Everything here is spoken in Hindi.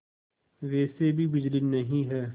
वैसे भी बिजली नहीं है